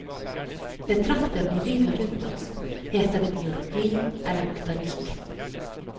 Betrakter vi livet rundt oss, heter det biologi eller botanikk.